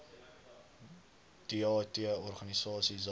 deat org za